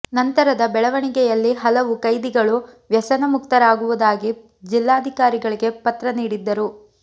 ನಂತರದ ಬೆಳವಣಿಗೆಯಲ್ಲಿ ಹಲವು ಕೈದಿಗಳು ವ್ಯಸನ ಮುಕ್ತರಾಗುವುದಾಗಿ ಜಿಲ್ಲಾಧಿಕಾರಿಗಳಿಗೆ ಪತ್ರ ನೀಡಿದ್ದರು